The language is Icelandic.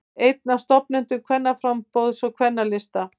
Einn af stofnendum Kvennaframboðs og Kvennalista